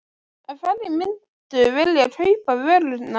En hverjir myndu vilja kaupa vöruna?